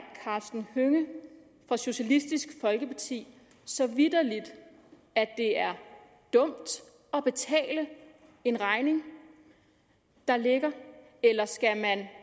karsten hønge fra socialistisk folkeparti så vitterlig at det er dumt at betale en regning der ligger eller skal man